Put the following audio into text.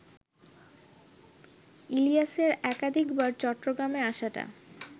ইলিয়াসের একাধিকবার চট্টগ্রামে আসাটা